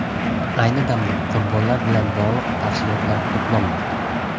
Ayni damda qurbonlar bilan bog‘liq tafsilotlar to‘planmoqda.